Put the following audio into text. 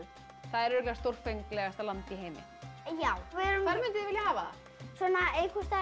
það er örugglega stórfenglegasta land í heimi já hvar munduð þið vilja hafa það einhvers staðar